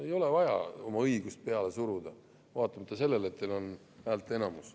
Ei ole vaja oma õigust peale suruda, vaatamata sellele, et teil on häälteenamus.